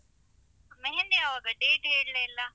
मेहंदी ಯಾವಾಗ? date ಹೇಳ್ಳೆ ಇಲ್ಲ.